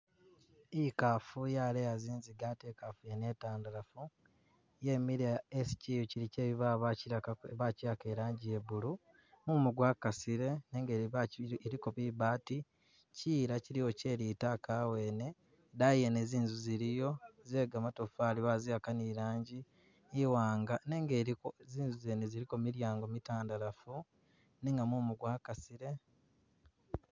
Ikafu yaleya zinziga ate ekafu yene etandalafu, yemile esi chiyu chili che bibaawo bachilaka bachiyaka ilanji ye blue, mumu gwakasile, nenga ilibaji iliko bibaati, chiyila chiliwo chelitaka awene, idayi yene zinzu ziliyo ze gamatofari baziyaka ni ilanji iwanga nenga iliko zinzu zene ziliko milyango mitandalafu nenga mumu gwakasile